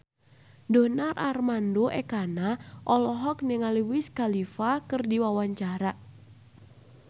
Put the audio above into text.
Donar Armando Ekana olohok ningali Wiz Khalifa keur diwawancara